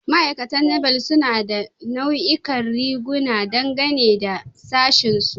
Ma'aikatan Naval suna da nau'ikan riguna, dangane da sashinsu.